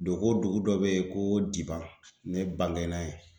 Dogo dugu dɔ bɛ yen ko Diban ne bangena yen.